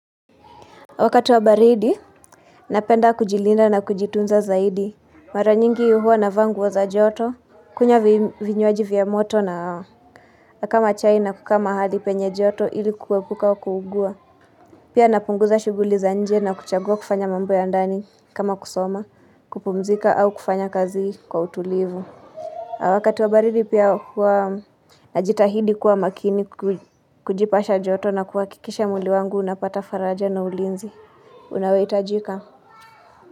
Wakati wa baridi, napenda kujilinda na kujitunza zaidi. Mara nyingi huwa navaa nguo za joto, kunywa vinywaji vya moto na au. Kama chai na kukaa mahali penye joto, ili kuepuka kuugua. Pia napunguza shughuli za nje na kuchagua kufanya mambo ya ndani kama kusoma, kupumzika au kufanya kazi kwa utulivu. Wakati wa baridi pia huwa najitahidi kuwa makini kujipasha joto na kuhakikisha mwili wangu, unapata faraja na ulinzi. Unaohitajika.